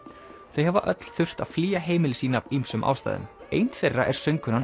þau hafa öll þurft að flýja heimili sín af ýmsum ástæðum ein þeirra er söngkonan